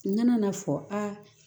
N nana n'a fɔ aa